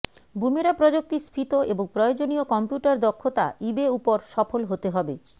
বুমেরা প্রযুক্তি স্ফীত এবং প্রয়োজনীয় কম্পিউটার দক্ষতা ইবে উপর সফল হতে হবে